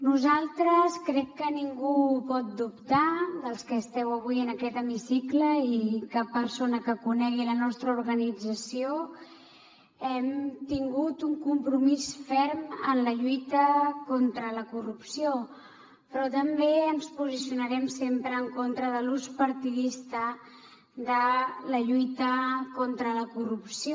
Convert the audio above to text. nosaltres crec que ningú ho pot dubtar dels que esteu avui en aquest hemicicle i cap persona que conegui la nostra organització hem tingut un compromís ferm amb la lluita contra la corrupció però també ens posicionarem sempre en contra de l’ús partidista de la lluita contra la corrupció